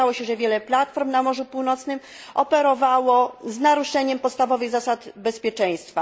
Okazało się, że wiele platform na Morzu Północnym operowało z naruszeniem podstawowych zasad bezpieczeństwa.